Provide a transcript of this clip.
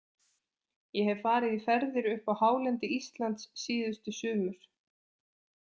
Ég hef farið í ferðir upp á hálendi Íslands síðustu sumur.